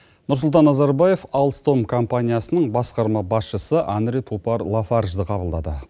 нұрсұлтан назарбаев алстом компаниясының басқарма басшысы анре пупар лафаржиді қабылдады